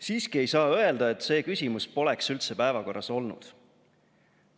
Siiski ei saa öelda, et see küsimus poleks üldse päevakorras olnud.